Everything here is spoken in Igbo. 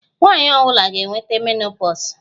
Nwanyị ọ bụla ga-enweta menopause